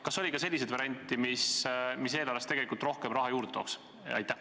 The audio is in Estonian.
Kas oli ka selliseid variante, mis eelarvesse tegelikult rohkem raha juurde tooks?